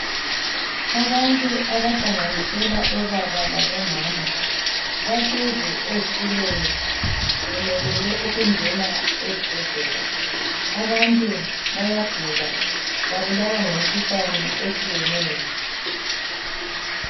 Abantu abahlanganisela obaba labomama bahlezi ezitulweni bemelele ukungena esibhedlela abantu bayagula babulawa ngemikhuhlane etshiyeneyo.